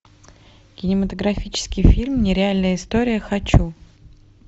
кинематографический фильм нереальная история хочу